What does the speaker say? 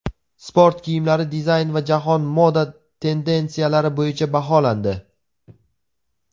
Sport kiyimlari dizayn va jahon moda tendensiyalari bo‘yicha baholandi.